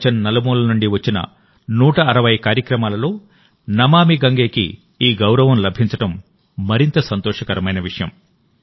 ప్రపంచం నలుమూలల నుండి వచ్చిన 160 కార్యక్రమాలలో నమామి గంగేకి ఈ గౌరవం లభించడం మరింత సంతోషకరమైన విషయం